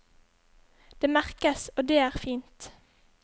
Det merkes, og det er fint.